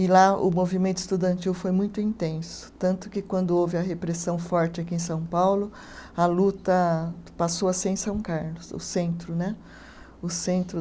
E lá o movimento estudantil foi muito intenso, tanto que quando houve a repressão forte aqui em São Paulo, a luta passou a ser em São Carlos, o centro né, o centro.